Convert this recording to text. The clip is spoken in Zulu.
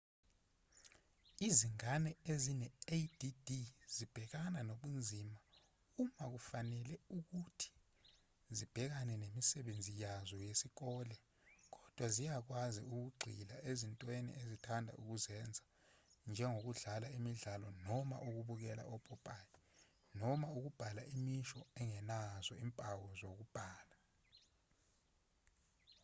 izingane ezine-add zibhekana nobunzima uma kufanele ukuthi zibhekane nemisebenzi yazo yesikole kodwa ziyakwazi ukugxila ezintweni ezithanda ukuzenza njengokudlala imidlalo noma ukubukela opopayi noma ukubhala imisho engenazo izimpawo zokubhala